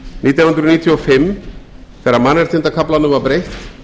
nítján hundruð níutíu og fimm þegar mannréttindakaflanum var breytt